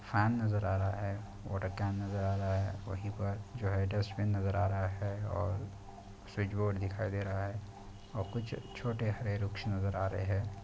Fan नज़र आ रहा है वाटर कैन नजर आ रहा है वही पर डस्टबिन नजर आ रहा है और स्वीच बोर्ड दिखाई दे रहा है और कुछ छोटे हरे रुख नजर आ रहे हैं।